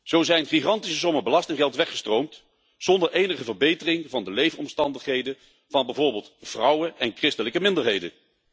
Zo zijn gigantische sommen belastinggeld weggestroomd zonder enige verbetering van de leefomstandigheden van bijvoorbeeld vrouwen en christelijke minderheden.